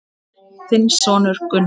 Þinn sonur Gunnar.